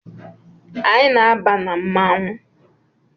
Anyị na-aba na mmanwụ